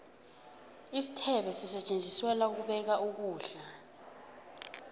isithebe sisetjenziselwa ukubeka ukulda